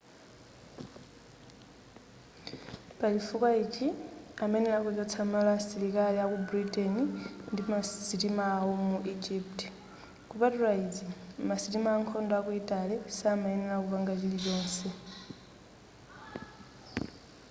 pachifukwachi amayenera kuchotsa malo asilikali aku britain ndi masitima awo mu egypt kupatula izi masitima ankhondo aku italy samayenera kupanga chinachilichonse